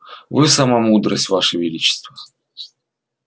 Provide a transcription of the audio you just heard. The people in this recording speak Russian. вы сама мудрость ваше величество